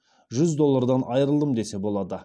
жүз доллардан айырылдым десе болады